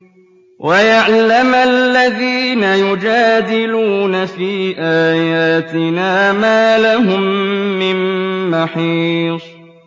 وَيَعْلَمَ الَّذِينَ يُجَادِلُونَ فِي آيَاتِنَا مَا لَهُم مِّن مَّحِيصٍ